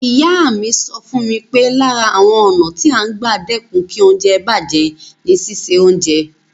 Ìyá mi sọ fún mi pé lára àwọn ọ̀nà tí à ń gbà dẹ́kun kí oúnjẹ bàjẹ́ ni síse oúnjẹ.